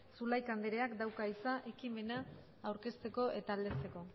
zulaika andereak dauka hitza ekimena aurkezteko eta aldezteko